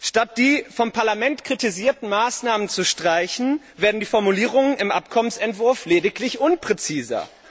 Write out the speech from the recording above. Statt die vom Parlament kritisierten Maßnahmen zu streichen, werden die Formulierungen im Abkommensentwurf lediglich unpräziser.